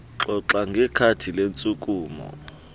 xoxa ngekhadi lentshukumo